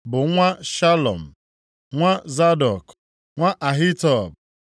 bụ nwa Shalum, nwa Zadọk, nwa Ahitub,